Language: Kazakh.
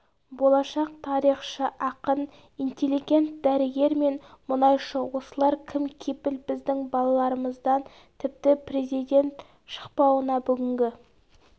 болашақ тарихшы ақын интелегент дәрігер мен мұнайшы осылар кім кепіл біздің балаларымыздан тіпті президент шықпауына бүгінгі